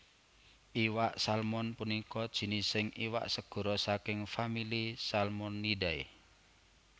Iwak Salmon punika jinising iwak segara saking famili Salmonidae